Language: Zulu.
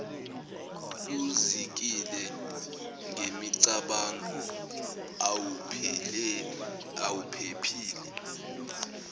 uzikile ngemicabango awuphephile